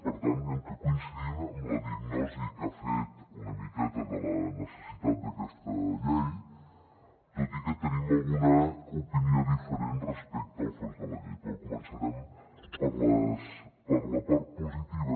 per tant direm que coincidim en la diagnosi que ha fet una miqueta de la necessitat d’aquesta llei tot i que tenim alguna opinió diferent respecte al fons de la llei però començarem per la part positiva